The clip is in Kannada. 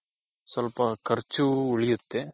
ಸ್ವಲ್ಪ ಖರ್ಚು ಉಳಿಯುತ್ತೆ.